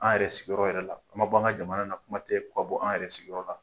An yɛrɛ sigiyɔrɔ yɛrɛ la n ma bɔ an ka jamana na kuma tɛ ka bɔ an yɛrɛ sigiyɔrɔ la